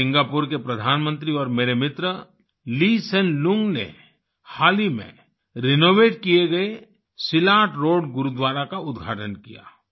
Singapore के प्रधानमंत्री और मेरे मित्र Lee Hsien Loong Lee Hsien Loong ने हाल ही में रिनोवेट किए गए सिलाट रोड गुरुद्वारा का उद्घाटन किया